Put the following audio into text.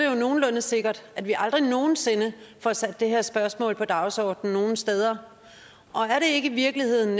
jo nogenlunde sikkert at vi aldrig nogen sinde får sat det her spørgsmål på dagsordenen nogen steder er det i virkeligheden